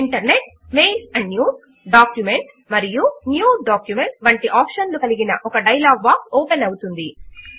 internetమెయిల్స్ and newsడాక్యుమెంట్ మరియు new document వంటి ఆప్షన్లు కలిగిన ఒక డయలాగ్ బాక్స్ ఓపెన్ అవుతుంది